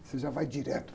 Você já vai direto.